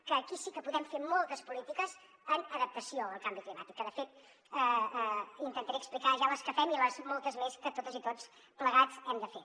que aquí sí que podem fer moltes polítiques en adaptació al canvi climàtic que de fet intentaré explicar ja les que fem i les moltes més que totes i tots plegats hem de fer